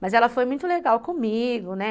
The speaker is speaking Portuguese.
Mas ela foi muito legal comigo, né?